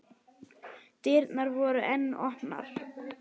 Dyrnar voru enn opnar.